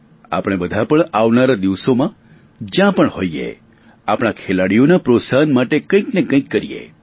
આપણે બધા પણ આવનારા દિવસોમાં જ્યાં પણ હોઇએ આપણા ખેલાડીઓના પ્રોત્સાહન માટે કઇ ને કઇ કરીએ